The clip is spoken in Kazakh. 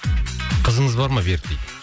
қызыңыз бар ма берік дейді